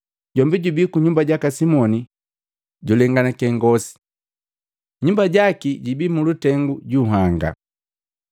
Jombi jubi ku nyumba jaka Simoni jojulenganake ngosi, nyumba jaki jibi mulutengu ju nhanga.”